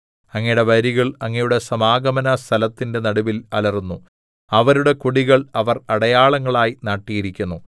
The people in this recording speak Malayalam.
അങ്ങയുടെ വൈരികൾ അങ്ങയുടെ സമാഗമന സ്ഥലത്തിന്റെ നടുവിൽ അലറുന്നു അവരുടെ കൊടികൾ അവർ അടയാളങ്ങളായി നാട്ടിയിരിക്കുന്നു